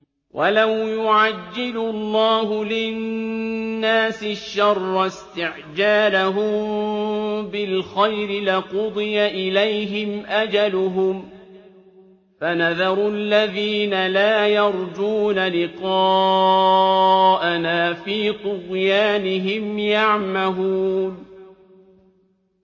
۞ وَلَوْ يُعَجِّلُ اللَّهُ لِلنَّاسِ الشَّرَّ اسْتِعْجَالَهُم بِالْخَيْرِ لَقُضِيَ إِلَيْهِمْ أَجَلُهُمْ ۖ فَنَذَرُ الَّذِينَ لَا يَرْجُونَ لِقَاءَنَا فِي طُغْيَانِهِمْ يَعْمَهُونَ